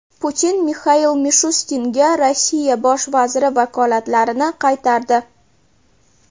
Putin Mixail Mishustinga Rossiya bosh vaziri vakolatlarini qaytardi.